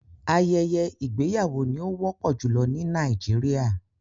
Ayẹyẹ igbeyawo ni o wọpọ julọ ni Nàìjíríà